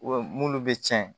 munnu bɛ tiɲɛ